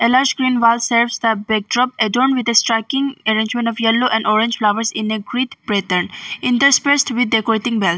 A large green wall saves the backdrop add on with a striking arrangement of yellow and orange flowers in a great pattern. In this place we are decorating wall.